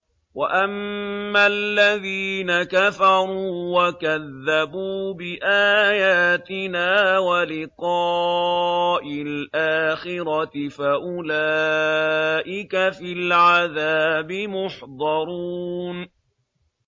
وَأَمَّا الَّذِينَ كَفَرُوا وَكَذَّبُوا بِآيَاتِنَا وَلِقَاءِ الْآخِرَةِ فَأُولَٰئِكَ فِي الْعَذَابِ مُحْضَرُونَ